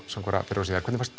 fyrr og síðar hvernig fannst